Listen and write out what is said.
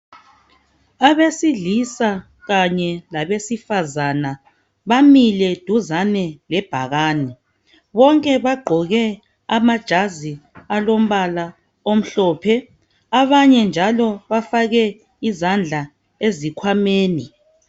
Abesilisa kanye labesifazana bamile duzane lebhakane bonke bagqoke amajazi alombala omhlophe abanye njalo bafake izandla ezikhwameni.